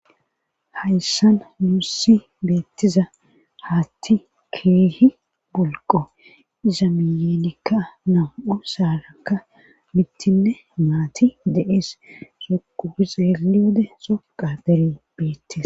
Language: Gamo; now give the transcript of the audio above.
hayssan muussi beettiza haatti keehi bulqo iza miyeenikka nam7u saarakka mittinne maati de7ees soquuxeeli wode soqa dere beettiza